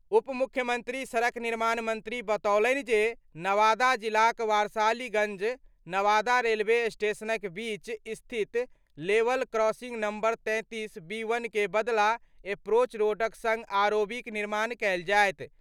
उप मुख्यमंत्री सड़क निर्माण मंत्री बतौलनि जे नवादा जिलाक वारसालीगंज-नवादा रेलवे स्टेशनक बीच स्थित लेवल क्रॉसिंग नंबर-33/बी1 के बदला एप्रोच रोडक संग आरओबीक निर्माण कयल जायत।